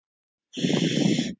Það þolir enga bið!